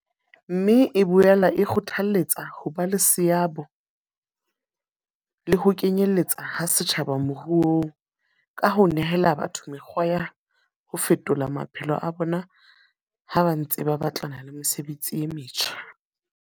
Mme e boela e kgothaletsa ho ba le seabo le ho kenyeletswa ha setjhaba moruong, ka ho nehela batho mekgwa ya ho fetolo maphelo a bona ha ba ntse ba batlana le mesebetsi e metjha.